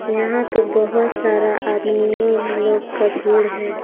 यहां पे बहुत सारा आदमियों लोग का भीड़ है।